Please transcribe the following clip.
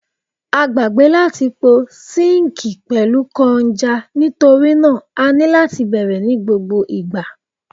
A gbagbe lati po sinkii pẹlu kọnja nitori naa a ni lati bẹrẹ ni gbogbo igba